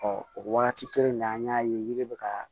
o waati kelen na an y'a ye yiri bɛ ka